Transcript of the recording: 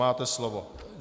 Máte slovo.